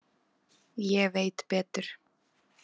Ég veit betur.